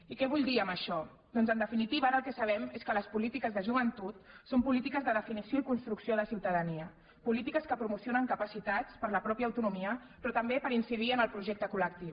i què vull dir amb això doncs en definitiva ara el que sabem és que les polítiques de joventut són polítiques de definició i construcció de ciutadania polítiques que promocionen capacitats per a la pròpia autonomia però també per incidir en el projecte col·lectiu